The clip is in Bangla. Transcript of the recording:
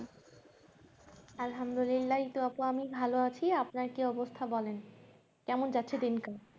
আলহালদুলিল্লা এই তো আপু আমি আপনার কি অবস্থা বলেন কেমন যাচ্ছে দিন কাল